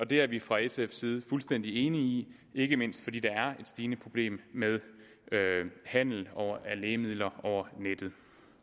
det er vi fra sfs side fuldstændig enige i ikke mindst fordi der er et stigende problem med handel af lægemidler over nettet